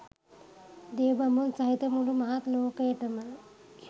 දෙවි බඹුන් සහිත මුළු මහත් ලෝකයටම